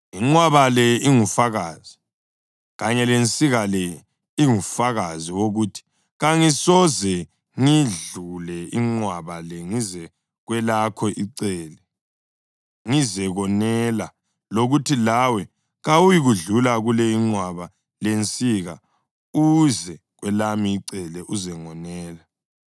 Inqwaba le ingufakazi, kanye lensika le ingufakazi wokuthi kangisoze ngiyidlule inqwaba le ngize kwelakho icele ngizekonela lokuthi lawe kawuyikudlula kule inqwaba lensika uze kwelami icele uzengonela.